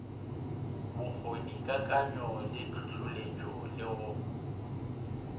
bokgonikakanyo le hlohloletšego le go